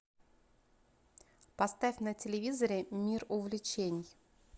поставь на телевизоре мир увлечений